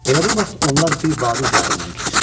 Elə bu vaxt onlar bir vadi üzərindən keçirdilər.